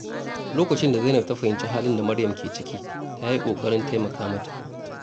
Lokacin da Zainab ta fahimci halin da Maryam ke ciki, ta yi ƙoƙarin taimaka mata.